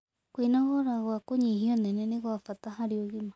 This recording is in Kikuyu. Kwĩnogora gwa kũnyĩhĩa ũnene nĩ gwa bata harĩ ũgima